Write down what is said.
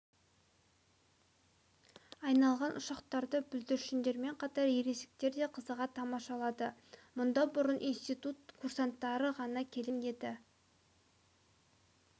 айналған ұшақтарды бүлдіршіндермен қатар ересектер де қызыға тамашалады мұнда бұрын институт курсанттары ғана келетін енді